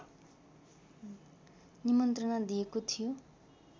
निमन्त्रणा दिएको थियो